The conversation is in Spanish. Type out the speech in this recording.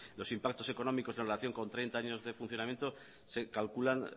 algunos los impactos económicos en relación con treinta años de funcionamiento se calculan